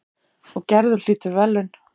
Og Gerður hlýtur verðlaun.